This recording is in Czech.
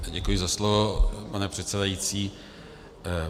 Děkuji za slovo, pane předsedající.